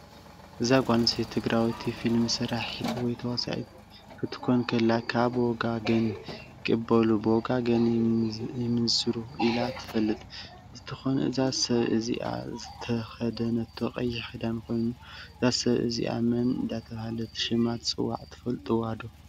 እዚ ጋል ኣንሰተይቲ ትግራወቲ ፍልሚ ሰራሕት ወይ ተዋሳኢ ክትኮን ከላ ካብ ብወጋገን ይቀበሉ ብወጋገ ይምንዝሩ ኢላ ተፈልጥ እ ንትትኮን እዛ ሰ ብ እዚኣ ዝተከደነቶ ቀይሕ ክዳን ኮይኖ እዛ ሰብ እዝኣ መን እደተበሃለት ሽማ ትፅዋ ትፍልጥዋዶ?